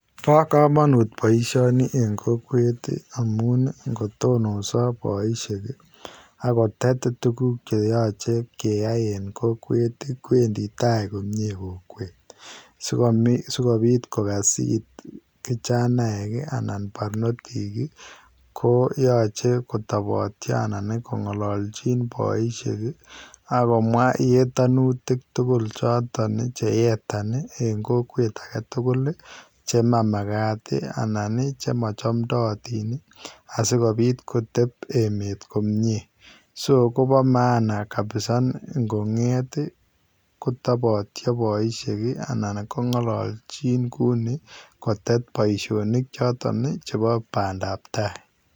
Bo kamanut boisioni en kokwet ii amuun ii ingotonosaa boisheek ii ago tet tuguuk che yachei keyai en kokwet ii kowendii tai komyei kokwet sikobiit kogas it kijanaek ii anan parnotiik ii ko yachei kotabatia anan ko ngalaljiin boisieek ii agomwa yetanutiik tugul chotoon che yetaan en kokwet age tugul ii chemamagaat ii anan ii chema chamtayaatiin ii anan sikobiit koteeb emet komyei [so] Kobo [maana kabisa] ingongeet ii boisheek kotabaat anan kongalaljin kuu nii kotet boisionik ii chotoon chebo bandaap tai.